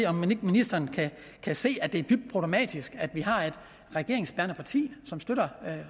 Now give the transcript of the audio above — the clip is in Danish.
om ikke ministeren kan se at det er dybt problematisk at et regeringsbærende parti som støtter